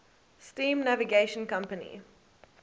steam navigation company